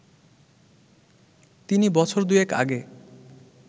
তিনি বছর দুয়েক আগে